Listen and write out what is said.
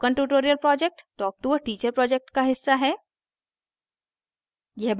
spoken tutorial project talktoa teacher project का हिस्सा है